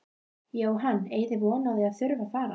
Jóhann: Eigið þið von á því að þurfa fara?